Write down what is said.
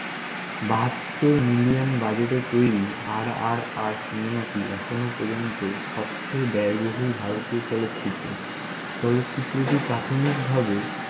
বাহাত্তর মিলিয়ন বাজেটে তৈরি, RRRcinema টি এখন পর্যন্ত সবচেয়ে ব্যয়বহুল ভারতীয় চলচ্চিত্র । চলচ্চিত্রটি প্রাথমিকভাবে